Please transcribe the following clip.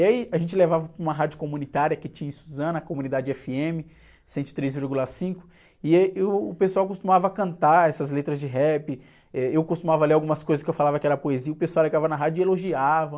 E aí a gente levava para uma rádio comunitária que tinha em Suzano, a Comunidade éfe-eme cento e três, vírgula cinco, e, e o pessoal costumava cantar essas letras de rap, eh, eu costumava ler algumas coisas que eu falava que era poesia, o pessoal ligava na rádio e elogiava.